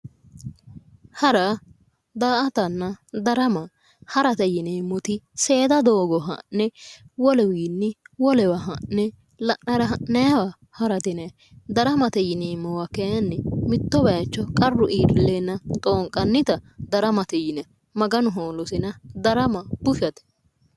Hara, daa"attanna darama ,harate yinneemmoti seeda doogo ha'ne woluwinni wolewa ha'ne la'nara ha'nanniwa harate yinanni, daramate yinneemmowa kayinni mitto bayicho qarru iille leellano woyte xoonqannitta daramate yinanni, Maganu hoolosenna darama bushshate.